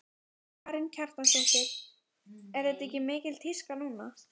Karen Kjartansdóttir: Er þetta ekki mikil tíska núna?